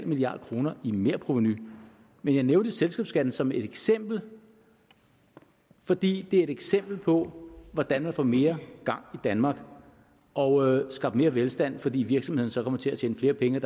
milliard kroner i merprovenu men jeg nævnte selskabsskatten som et eksempel fordi det er et eksempel på hvordan man får mere gang i danmark og skabt mere velstand fordi virksomhederne så kommer til at tjene flere penge